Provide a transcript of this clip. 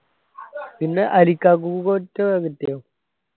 പിന്നെ മറ്റോ കിട്ടിയോ